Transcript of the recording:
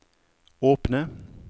åpne